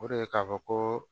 O de ye k'a fɔ ko